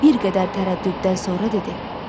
Bir qədər tərəddüddən sonra dedi.